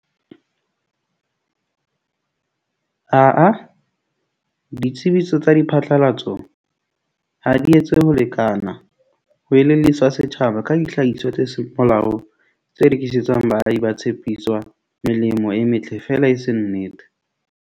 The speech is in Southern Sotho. Ah-ah, ditsebiso tsa diphatlalatso ha di etse ho lekana ho elelliswa setjhaba ka dihlahiswa tse seng molaong, tse rekisetswang baahi ba tshepiswang melemo e metle fela e se nnete.